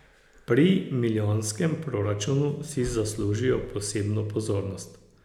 Pri milijonskem proračunu si zaslužijo posebno pozornost.